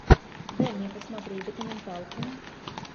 дай мне посмотреть документалку